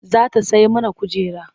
Za ta sai mana kujera.